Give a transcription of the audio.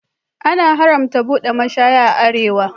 An haramta buɗe mashaya a arewa.